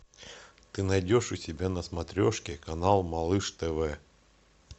ты найдешь у себя на смотрешке канал малыш тв